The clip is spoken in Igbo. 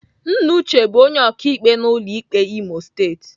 Nna Uche bụ onye ọkaikpe n'ụlọ ikpe Imo Steeti.